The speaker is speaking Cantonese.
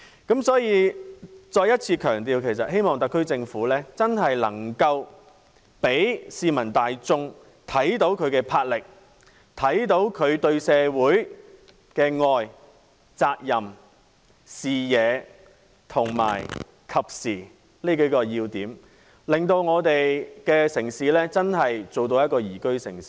因此，我再一次強調，希望特區政府真正能夠讓市民大眾看到它的魄力，看到它對社會的愛、責任，具備視野和適時性這幾個要點，使我們的城市真正成為一個宜居城市。